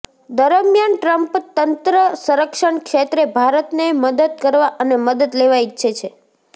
દરમિયાન ટ્રમ્પ તંત્ર સંરક્ષણ ક્ષેત્રે ભારતને મદદ કરવા અને મદદ લેવા ઇચ્છે છે